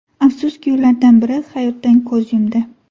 Afsuski, ulardan biri hayotdan ko‘z yumdi.